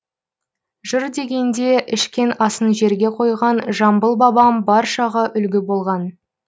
жыр дегенде ішкен асын жерге қойған жамбыл бабам баршаға үлгі болған